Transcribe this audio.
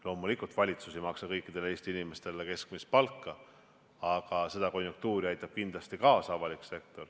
Loomulikult, valitsus ei maksa kõikidele Eesti inimestele keskmist palka, aga sellele konjunktuurile aitab avalik sektor kindlasti kaasa.